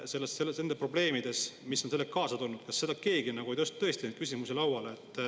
Kas tõesti keegi ei küsinud nende probleemide kohta, mille on kaasa toonud?